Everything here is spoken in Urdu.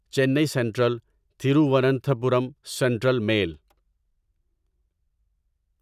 چینی سینٹرل تھیرووننتھاپورم سینٹرل میل